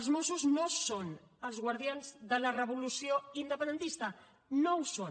els mossos no són els guardians de la revolució independentista no ho són